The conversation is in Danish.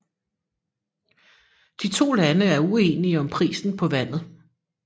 De to lande er ueninge om prisen på vandet